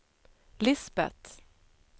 Lisbet